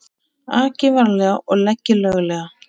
Aki varlega og leggi löglega